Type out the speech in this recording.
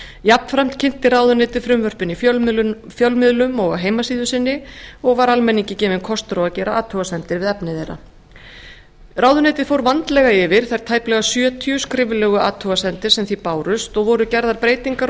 jafnframt kynnti ráðuneytið frumvörpin í fjölmiðlum og á heimasíðu sinni og var almenningi gefinn kostur á að gera athugasemdir við efni þeirra ráðuneytið fór vandlega yfir þær tæplega yfir sjötíu skriflegu athugasemdir sem því bárust og voru gerðar breytingar á